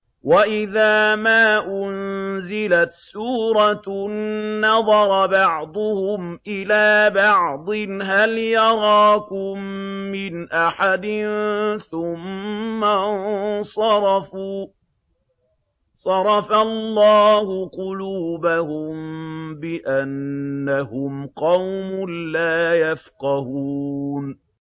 وَإِذَا مَا أُنزِلَتْ سُورَةٌ نَّظَرَ بَعْضُهُمْ إِلَىٰ بَعْضٍ هَلْ يَرَاكُم مِّنْ أَحَدٍ ثُمَّ انصَرَفُوا ۚ صَرَفَ اللَّهُ قُلُوبَهُم بِأَنَّهُمْ قَوْمٌ لَّا يَفْقَهُونَ